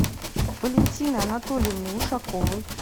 валентины анатольевны ушаковой